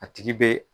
A tigi bɛ